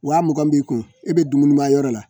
Wa mugan b'i kun i bɛ dumuni ma yɔrɔ la